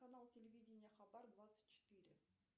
канал телевидение хабар двадцать четыре